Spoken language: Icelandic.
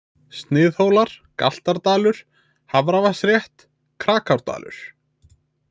Sniðhólar, Galtardalur, Hafravatnsrétt, Krakárdalur